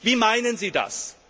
Wie meinen Sie das?